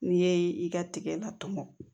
N'i ye i ka tigɛ la tɔmɔ